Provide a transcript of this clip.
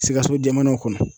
SIKASO jamanaw kɔnɔ.